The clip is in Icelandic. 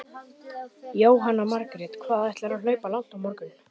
Jóhanna Margrét: Hvað ætlarðu að hlaupa langt á morgun?